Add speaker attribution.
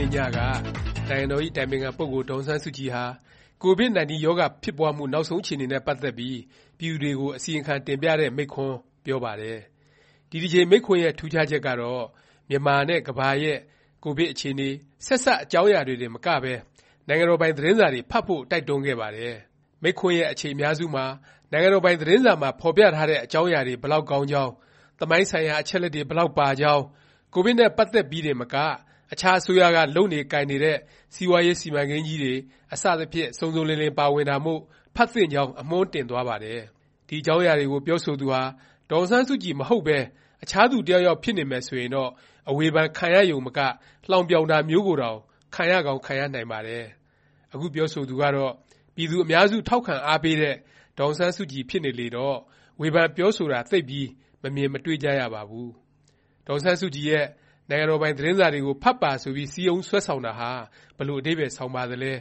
Speaker 1: နေ့ညက နိုင်ငံတော် အတိုင်ပင်ခံ ပုဂ္ဂိုလ် ဒေါ်အောင်ဆန်းစုကြည်ဟာ ကိုဗစ်-19 ရောဂါ ဖြစ်ပွားမှု နောက်ဆုံး အခြေအနေနဲ့ ပတ်သက်ပြီး ပြည်သူတွေကို အစီရင်ခံ တင်ပြတဲ့ မိန့်ခွန်းပြောပါတယ်။ ဒီတစ်ကြိမ် မိန့်ခွန်းရဲ့ ထူးခြားချက်ကတော့ မြန်မာနဲ့ ကမ္ဘာရဲ့ ကိုဗစ် အခြေအနေ၊ ဆက်စပ် အကြောင်းအရာတွေတင်မကပဲ နိုင်ငံတော်ပိုင် သတင်းစာတွေ ဖတ်ဖို့ တိုက်တွန်းခဲ့ပါတယ်။ မိန့်ခွန်းရဲ့ အချိန်အများစုမှာ နိုင်ငံတော်ပိုင် သတင်းစာမှာ ဖော်ပြထားတဲ့ အကြောင်းအရာတွေ ဘယ်လောက် ကောင်းကြောင်း၊ သမိုင်းဆိုင်ရာ အချက်အလက်တွေ ဘယ်လောက်ပါကြောင်း၊ ကိုဗစ်နဲ့ ပတ်သက်ပြီးတင်မက အခြား အစိုးရက လုပ်နေ ကိုင်နေတဲ့ စီးပွားရေး စီမံကိန်းကြီးတွေ အစသဖြင့် စုံစုံလင်လင် ပါဝင်တာမို့ ဖတ်သင့်ကြောင်း အမွှန်းတင်သွားပါတယ်။ ဒီ အကြောင်းအရာကို ပြောဆိုသူဟာ ဒေါ်အောင်ဆန်းစုကြည် မဟုတ်ပဲ အခြားသူ တစ်ယောက်ယောက် ဖြစ်နေမယ် ဆိုရင်တော့ အဝေဖန် ခံရရုံမက လှောင်ပြောင်တာမျိုးကိုတောင် ခံရကောင်း ခံရနိုင်ပါတယ်။ အခု ပြောဆိုသူကတော့ ပြည်သူအများစု ထောက်ခံ အားပေးတဲ့ ဒေါ်အောင်ဆန်းစုကြည် ဖြစ်နေလေတော့ ဝေဖန်ပြောဆိုတာ သိပ်ပြီး မမြင်မတွေ့ကြရပါဘူး။ ဒေါ်အောင်ဆန်းစုကြည်ရဲ့ နိုင်ငံတော်ပိုင် သတင်းစာတွေကို ဖတ်ပါဆိုပြီး စည်းရုံးဆွဲဆောင်တာ ဘယ်လို အဓိပ္ပါယ် ဆောင်ပါသလဲ၊